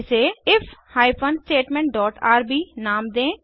इसे if hyphen statement dot R B नाम दें